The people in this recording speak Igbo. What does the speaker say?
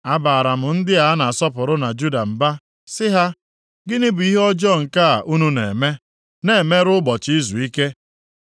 A baara m ndị a na-asọpụrụ na Juda mba, si ha, “Gịnị bụ ihe ọjọọ nke a unu na-eme, na-emerụ ụbọchị izuike?